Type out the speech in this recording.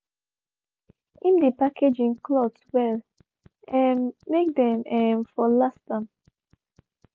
him dey package him cloths well um make them um for last am